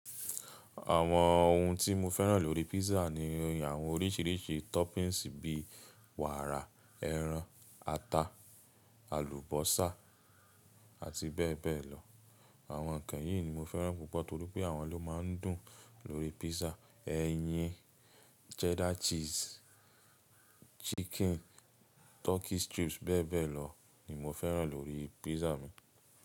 Àwọn ohun tí mo fẹ́ràn lórí písà ni àwọn oríṣiríṣi toppings bí wàrà, ẹran, ata, àlùbọ́sà àti bẹ́ẹ̀ bẹ́ẹ̀ lọ. Àwọn ǹkan yìí ni mo fẹ́ràn púpọ̀ torí pé àwọn ló máa ń dùn lórí písà. Ẹyin, cheddar cheese, chicken, turkey strips bẹ́ẹ̀ bẹ́ẹ̀ lọ ni mo fẹ́ràn lórí písà mi.